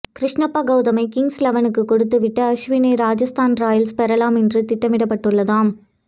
கிருஷ்ணப்பா கவுதமை கிங்ஸ் லெவனுக்குக் கொடுத்து விட்டு அஸ்வினை ராஜஸ்தான் ராயல்ஸ் பெறலாம் என்று திட்டமிடப்பட்டுள்ளதாம்